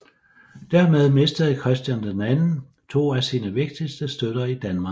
Dermed mistede Christian II to af sine vigtigste støtter i Danmark